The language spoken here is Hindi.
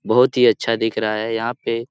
बहुत ही अच्छा दिख रहा है यहाँ पे --